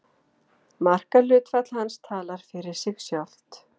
Markahlutfall hans talar fyrir sig sjálft.